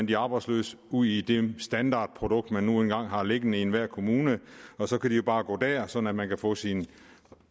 de arbejdsløse ud i det standardprodukt man nu engang har liggende i enhver kommune og så kan de jo bare gå derhen så man man kan få sine